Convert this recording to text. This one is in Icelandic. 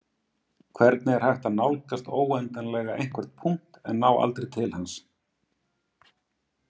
Hvernig er hægt að nálgast óendanlega einhvern punkt en ná aldrei til hans?